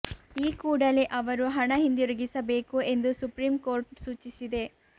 ಈ ಕೂಡಲೇ ಅವರು ಹಣ ಹಿಂದಿರುಗಿಸಬೇಕು ಎಂದು ಸುಪ್ರೀಂ ಕೋರ್ಟ್ ಸೂಚಿಸಿದೆ